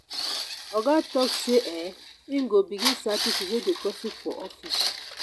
oga tok sey um im go begin sack pipo wey dey gossip for office.